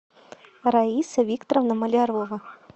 раиса викторовна малярова